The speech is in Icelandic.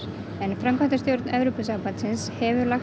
framkvæmdastjórn Evrópuráðsins hefur lagt